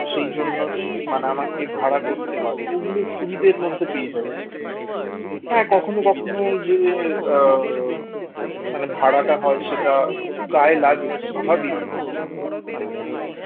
সেই জন্য মানে আমাকে ভাড়া করতে হয় তো ওগুলো সুবিধার মধ্যে পেয়ে যাই হ্যাঁ কখনো কখনো এই যে মানে ভাড়াটা হয় সেটা একটু গায়ে লাগে স্বাভাবিক মানে